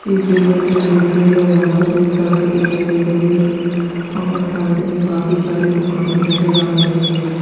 इस इमेज में दिखेगा यहां पर एक सड़क दिखाई दे रही है और साइड में काफी सारी दुकानें नजर आ रही है।